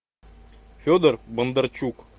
федор бондарчук